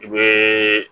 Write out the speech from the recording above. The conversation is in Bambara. I bɛ